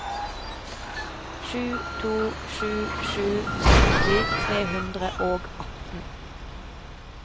sju to sju sju sytti tre hundre og atten